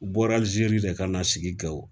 U bɔra aliziri de ka na sigi gawo